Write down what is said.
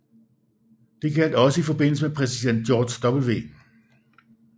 Det gjaldt også i forbindelse med præsident George W